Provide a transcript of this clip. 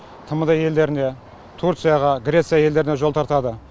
тмд елдеріне түрцияға греция елдеріне жол тартады